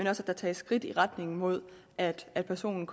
at der tages skridt i retning mod at at personen